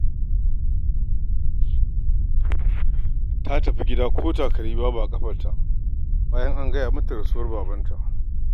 Ta tafi gida ko takalmi babu a ƙafarta, bayan an gaya mata rasuwar babanta.